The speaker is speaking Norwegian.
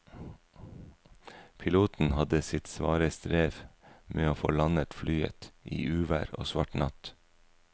Piloten hadde sitt svare strev med å få landet flyet i uvær og svart natt.